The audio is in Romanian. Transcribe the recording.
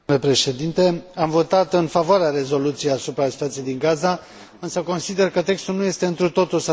Am votat în favoarea rezoluției asupra situației din Gaza, însă consider că textul nu este întru totul satisfăcător.